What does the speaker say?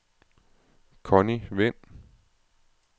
Conny Wind